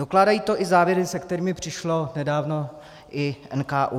Dokládají to i závěry, se kterými přišel nedávno i NKÚ.